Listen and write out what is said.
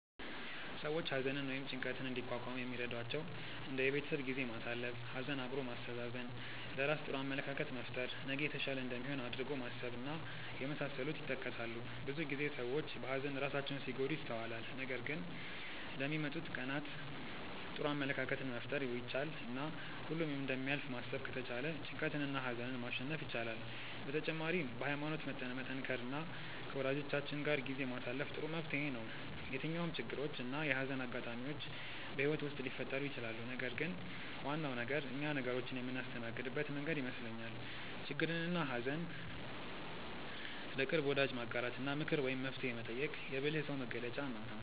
ሰዎች ሀዘንን ወይም ጭንቀትን እንዲቋቋሙ የሚረዷቸው እንደ የቤተሰብ ጊዜ ማሳለፍ፣ ሀዘን አብሮ ማስተዛዘን፣ ለራስ ጥሩ አመለካከት መፍጠር፣ ነገ የተሻለ እንደሚሆን አድርጎ ማሰብ እና የመሳሰሉት ይጠቀሳሉ። ብዙ ጊዜ ሰዎች በሀዘን ራሳቸውን ሲጎዱ ይስተዋላል ነገር ግን ለሚመጡት ቀናት ጥሩ አመለካከትን መፍጠር ቢቻል እና ሁሉም እንደሚያልፍ ማሰብ ከተቻለ ጭንቀትንና ሀዘንን ማሸነፍ ይቻላል። በተጨማሪም በሀይማኖት መጠንከር እና ከወጃጆቻችን ጋር ጊዜ ማሳለፍ ጥሩ መፍትሔ ነው። የትኛውም ችግሮች እና የሀዘን አጋጣሚዎች በህይወት ውስጥ ሊፈጠሩ ይችላሉ ነገር ግን ዋናው ነገር እኛ ነገሮችን የምናስተናግድበት መንገድ ይመስለኛል። ችግርንና ሀዘን ለቅርብ ወዳጅ ማጋራት እና ምክር ወይም መፍትሔ መጠየቅ የብልህ ሰው መገለጫ ነው።